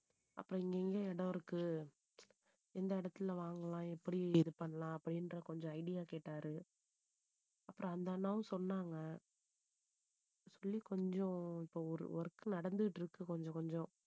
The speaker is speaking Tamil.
அப்புறம் இங்கங்க இடம் இருக்கு. எந்த இடத்துல வாங்கலாம் எப்படி இது பண்ணலாம் அப்படின்ற கொஞ்சம் idea கேட்டாரு அப்புறம் அந்த அண்ணாவும் சொன்னாங்க. சொல்லி கொஞ்சம் இப்போ ஒரு work நடந்துட்டு இருக்கு கொஞ்சம் கொஞ்சம்